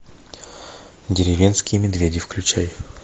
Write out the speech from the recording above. деревенские медведи включай